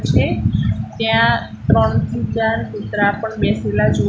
છે ત્યાં ત્રણથી ચાર કૂતરા પણ બેસેલા જોવા--